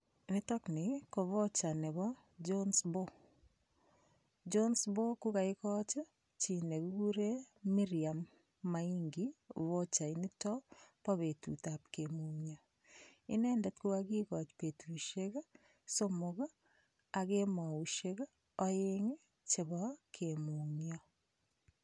Nitokni ko voucher nebo Johnbow Johnbow kukaikoch chi nekikure Miriam Maingi vochait nito bo betutab kemung'yo inendet kokikikoch betushiek somok ak kemoushek oeng' chebo kemung'yo